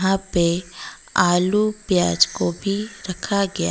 यहां पे आलू प्याज गोभी रखा गया--